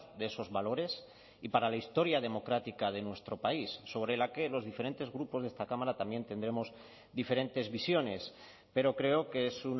de esos valores y para la historia democrática de nuestro país sobre la que los diferentes grupos de esta cámara también tendremos diferentes visiones pero creo que es